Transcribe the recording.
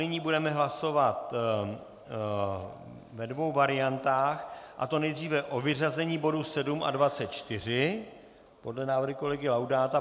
Nyní budeme hlasovat ve dvou variantách, a to nejdříve o vyřazení bodů 7 a 24 podle návrhu kolegy Laudáta.